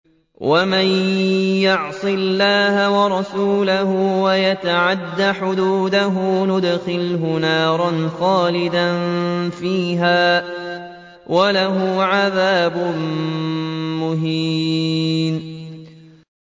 وَمَن يَعْصِ اللَّهَ وَرَسُولَهُ وَيَتَعَدَّ حُدُودَهُ يُدْخِلْهُ نَارًا خَالِدًا فِيهَا وَلَهُ عَذَابٌ مُّهِينٌ